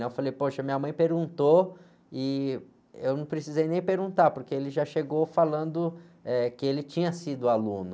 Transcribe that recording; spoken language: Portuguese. Né? Eu falei, poxa, minha mãe perguntou e eu não precisei nem perguntar, porque ele já chegou falando, eh, que ele tinha sido aluno.